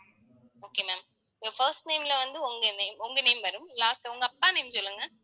okay ma'am your first name ல வந்து, உங்க name உங்க name வரும். last உங்க அப்பா name சொல்லுங்க